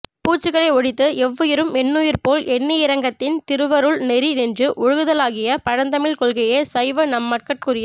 பூச்சுகளை ஒழித்து எவ்வுயிரும் என்னுயிர் போல் எண்ணியிரங்கித் திருவருள் நெறி நின்று ஒழுகுதலாகிய பழந்தமிழ்க் கொள்கையே சைவ நன்மக்கட்குரிய